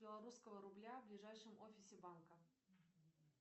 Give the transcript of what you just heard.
белорусского рубля в ближайшем офисе банка